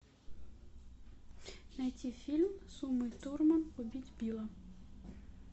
найти фильм с умой турман убить билла